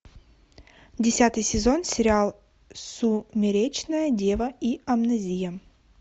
десятый сезон сериал сумеречная дева и амнезия